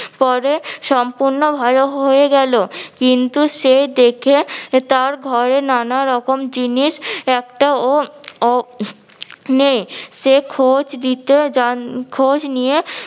পরে সম্পূর্ণ ভালো হয়ে গেলো। কিন্তু সে দেখে তার ঘরে নানা রকম জিনিস একটাও ও নেই সে খোঁজ দিতে যান খোঁজ নিয়ে